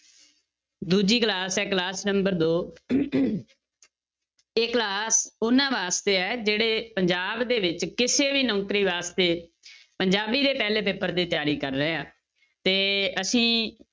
ਦੂਜੀ class ਹੈ class nunber ਦੋ ਇਹ class ਉਹਨਾਂ ਵਾਸਤੇ ਹੈ ਜਿਹੜੇ ਪੰਜਾਬ ਦੇ ਵਿੱਚ ਕਿਸੇ ਵੀ ਨੌਕਰੀ ਵਾਸਤੇ ਪੰਜਾਬੀ ਦੇ ਪਹਿਲੇ paper ਦੀ ਤਿਆਰੀ ਕਰ ਰਹੇ ਆ, ਤੇ ਅਸੀਂ